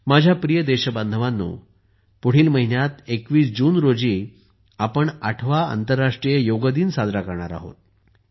माझ्या प्रिय देशबांधवांनो पुढील महिन्यात 21 जून रोजी आपण 8वा आंतरराष्ट्रीय योग दिन साजरा करणार आहोत